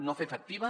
no fer efectiva